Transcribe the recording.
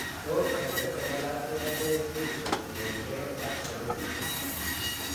Tos hydrocephalus koname chii kotien gee ak stenosis ?